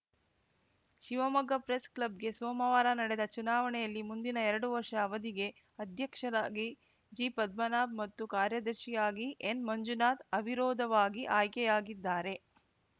Shivamogga press ಕ್ಲಬ್‌ಗೆ ಸೋಮವಾರ ನಡೆದ ಚುನಾವಣೆಯಲ್ಲಿ ಮುಂದಿನ ಎರಡು ವರ್ಷ ಅವಧಿಗೆ ಅಧ್ಯಕ್ಷರಾಗಿ ಜಿ ಪದ್ಮನಾಭ್‌ ಮತ್ತು ಕಾರ್ಯದರ್ಶಿಯಾಗಿ ಎನ್‌ ಮಂಜುನಾಥ್‌ ಅವಿರೋಧವಾಗಿ ಆಯ್ಕೆಯಾಗಿದ್ದಾರೆ